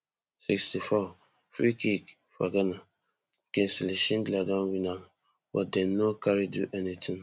sixty-fourfreekick for ghana kingsley shindler don win am but dem no carry do anitin